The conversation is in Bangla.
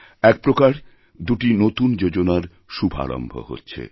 এক প্রকার দুটি নতুন যোজনারশুভারম্ভ হচ্ছে